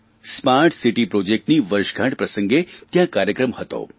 smart city પ્રોજેક્ટની વર્ષગાંઠ પ્રસંગે ત્યાં કાર્યક્રમ હતો